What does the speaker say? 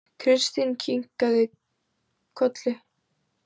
Kristín kinkaði kolli.